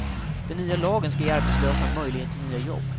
Den nya lagen skall ge arbetslösa möjlighet till nya jobb.